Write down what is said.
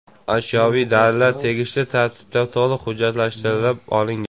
Ashyoviy dalillar tegishli tartibda to‘liq hujjatlashtirib olingan.